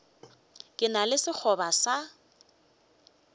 ke na le sekgoba sa